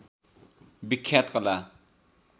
विख्यात कला